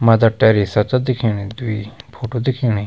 Mother Teresa च दिखेणि दुई फोटु दिखेणि।